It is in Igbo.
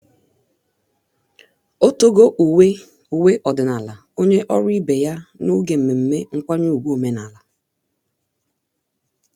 o togo uwe uwe ọdịnala onye ọrụ ibe ya n'oge mmemme nkwanye ùgwù omenala.